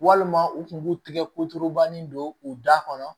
Walima u kun b'u tigɛ koturubani don u da kɔnɔ